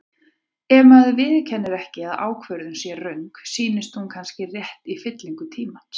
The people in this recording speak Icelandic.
Ef maður viðurkennir ekki að ákvörðun sé röng, sýnist hún kannski rétt í fyllingu tímans.